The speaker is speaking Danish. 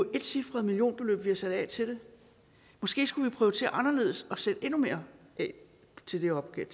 jo etcifrede millionbeløb vi har sat af til det måske skulle vi prioritere anderledes og sætte endnu mere af til den opgave